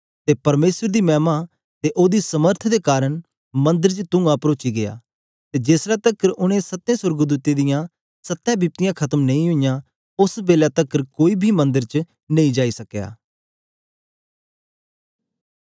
ते परमेसर दी मैमा ते ओदी समर्थ दे कारन मंदर च तुंआ परोची गीया ते जेस ले तकर ओनें सत्ते सोर्गदूतें दी सत्ते बिपतियाँ खत्म नेई ओई ओस बेलै तकर कोई बी मंदर च नेई जाई सकया